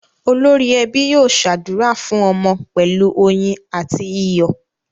Olórí ẹbí yóò ṣàdúrà fún ọmọ pẹ̀lú oyin àti iyọ̀.